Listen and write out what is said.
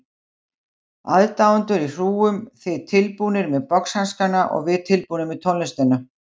Aðdáendur í hrúgum, þið tilbúnir með boxhanskana og við tilbúnar með tónlistina.